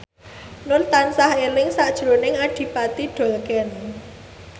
Nur tansah eling sakjroning Adipati Dolken